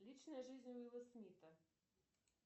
личная жизнь уилла смита